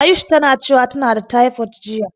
Ayush tana cewa tana da tefod jiya.